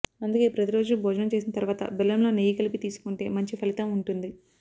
అందుకే ప్రతిరోజు భోజనం చేసిన తర్వాత బెల్లంలో నెయ్యి కలిపి తీసుకుంటే మంచి ఫలితం ఉంటుంది